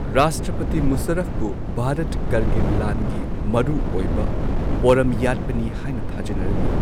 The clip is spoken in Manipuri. ꯔꯥꯁꯇ꯭ꯔꯄꯇꯤ ꯃꯨꯁꯥꯔꯐꯄꯨ ꯚꯥꯔꯠ ꯀꯥꯔꯒꯤꯜ ꯂꯥꯟꯒꯤ ꯃꯔꯨ ꯑꯣꯏꯕ ꯄꯣꯔꯝ ꯌꯥꯠꯄꯅꯤ ꯍꯥꯏꯅ ꯊꯥꯖꯅꯔꯝꯏ꯫